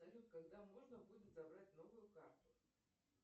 салют когда можно будет забрать новую карту